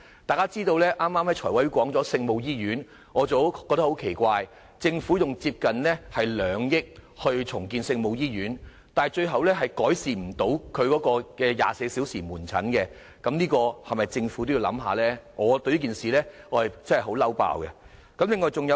大家知道財務委員會剛才討論有關聖母醫院的項目，我覺得很奇怪，政府投放接近2億元重建聖母醫院，但最終卻無法改善其24小時門診服務，政府在這方面是否也要考慮一下呢？